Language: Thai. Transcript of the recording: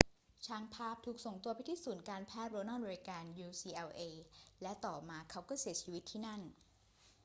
ช่างภาพถูกส่งตัวไปที่ศูนย์การแพทย์โรนัลด์ เรแกน ucla และต่อมาเขาก็เสียชีวิตที่นั่น